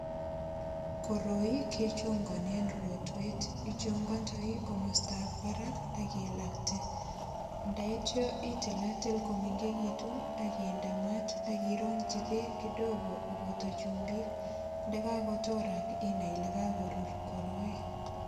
Koroi kechonganen rotwet. Ichongondoi komostab barak ak ilakte. Ndaitya itilatil komengegitun ak inde mat ak irongyi beek kidogoak inde chumbik. Ndakakotorak inai ile kakorur koroi.